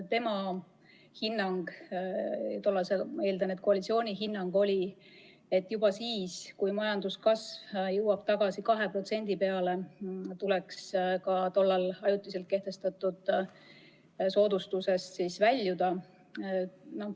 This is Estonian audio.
Tema hinnang – ma eeldan, et ka tollase koalitsiooni hinnang – oli selline, et juba siis, kui majanduskasv jõuab tagasi 2% peale, tuleks tollal ajutiselt kehtestatud soodustuse kasutamisest loobuda.